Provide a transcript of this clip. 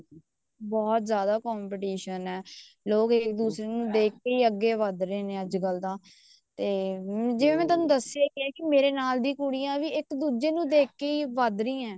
ਬਹੁਤ ਜਿਆਦਾ competition ਹੈ ਲੋ ਇੱਕ ਦੁੱਜੇ ਨੂੰ ਦੇਖ ਕੇ ਹੀ ਅੱਗੇ ਵੱਧ ਰਹੇ ਨੇ ਅੱਜਕਲ ਤਾਂ ਤੇ ਜਿਵੇਂ ਥੋਨੂੰ ਦੱਸਿਆ ਗਿਆ ਮੇਰੇ ਨਾਲ ਦੀਆਂ ਕੁੜੀਆਂ ਵੀ ਇੱਕ ਦੂਜੇ ਨੂੰ ਦੇਖ ਕੇ ਹੀ ਵਧ ਰਹੀਆਂ